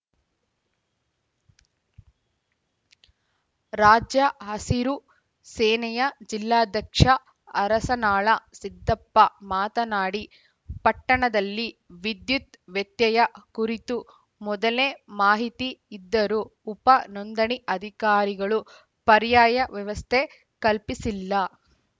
ರಾಜ್ಯ ಹಸಿರು ಸೇನೆಯ ಜಿಲ್ಲಾಧ್ಯಕ್ಷ ಅರಸನಾಳ ಸಿದ್ದಪ್ಪ ಮಾತನಾಡಿ ಪಟ್ಟಣದಲ್ಲಿ ವಿದ್ಯುತ್‌ ವ್ಯತ್ಯಯ ಕುರಿತು ಮೊದಲೇ ಮಾಹಿತಿ ಇದ್ದರೂ ಉಪ ನೋಂದಣಿ ಅಧಿಕಾರಿಗಳು ಪರ್ಯಾಯ ವ್ಯವಸ್ಥೆ ಕಲ್ಪಿಸಿಲ್ಲ